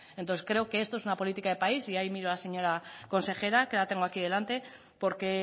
entonces creo que esto es una política de país y ahí miro a la señora consejera que la tengo aquí delante porque